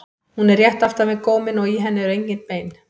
Hún er rétt aftan við góminn og í henni eru engin bein.